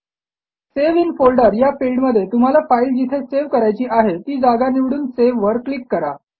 save in folder या फिल्डमध्ये तुम्हाला फाईल जिथे सेव्ह करायची आहे ती जागा निवडून सावे वर क्लिक करा